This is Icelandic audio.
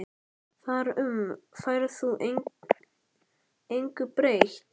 Þar um færð þú engu breytt.